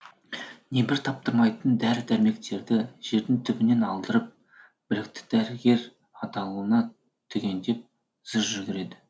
небір таптырмайтын дәрі дәрмектерді жердің түбінен алдырып білікті дәрігер атаулыны түгендеп зыр жүгіреді